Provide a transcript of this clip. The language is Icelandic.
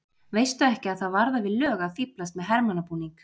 Veistu ekki að það varðar við lög að fíflast með hermannabúning!